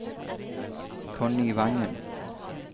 Connie Vangen